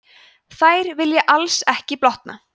þær vilja alls ekki blotna